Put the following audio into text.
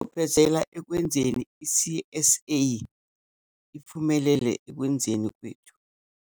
Ufezela ekwenzeni i-C_S_A iphumelele ekwenzeni kwethu.